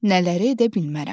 Nələri edə bilmərəm?